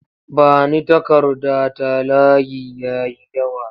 Ba ni takarda ta layi ya yi yawa!